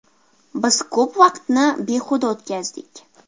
Biz ko‘p vaqtni behuda o‘tkazdik.